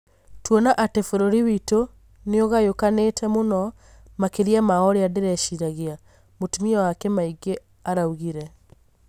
tuona atĩ bũrũri witũ nĩũgayũkanite mũno makĩria ma ũria ndirĩciragia", mũtumia wake maingi araugire